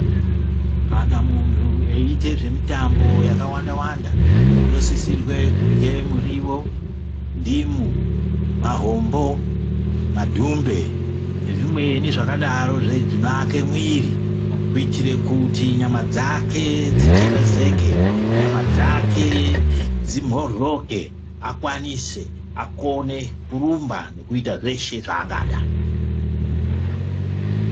Kana muntu eiite zvemitambo yakawanda-wanda, unosisirwe kurwe murivo, ndimu, mahombo, madhumbe nezvimweni zvakadaro zvinoake mwiri. Kuitire kuti nyama dzake dzitekezeke, nyama dzake dzimhoryoke akwanise akone kurumba nekuita zveshe zvaangada.